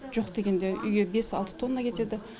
жоқ дегенде үйге бес алты тонна кетеді